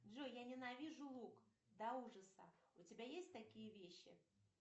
джой я ненавижу лук до ужаса у тебя есть такие вещи